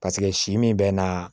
Paseke si min bɛ na